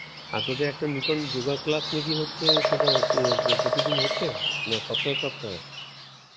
আর তদের নতুন yoga class নাকি হচ্ছে সেটা হ~ প্রতিদিন হচ্ছে? না সপ্তাহে সপ্তাহে?